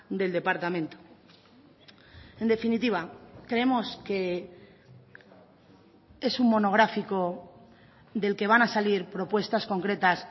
del departamento en definitiva creemos que es un monográfico del que van a salir propuestas concretas